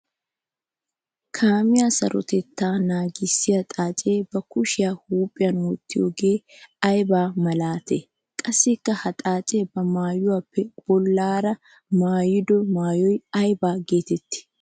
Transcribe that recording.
Kaamiya sarotetta naagissiya xaace ba kushiya huuphiyan wottiyooge aybba malaate? Qassikka ha xaace ba maayuwappe bollara maayiddo maayoy aybba geetetti?